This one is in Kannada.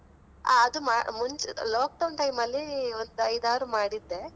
ಆ ಅದು ಮಾ~ ಮುಂಚೆ lockdown time ಅಲ್ಲಿ ಒಂದು ಐದಾರು ಮಾಡಿದ್ದೆ.